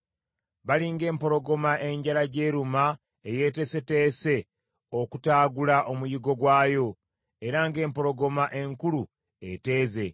Bali ng’empologoma enjala gy’eruma eyeeteeseteese okutaagula omuyiggo gwayo era ng’empologoma enkulu eteeze.